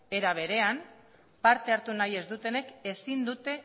era berean parte hartu nahi ez dutenek ezin dute